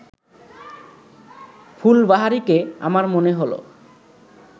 ফুলবাহারিকে আমার মনে হল